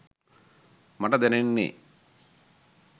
මට දැනෙන්නේ.